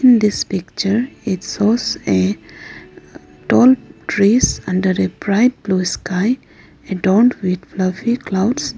in this picture it shows a tall trees under a bright blue sky adorned with fluffy clouds.